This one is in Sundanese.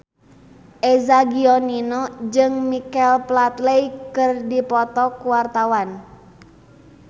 Eza Gionino jeung Michael Flatley keur dipoto ku wartawan